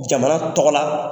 Jamana tɔgɔ la.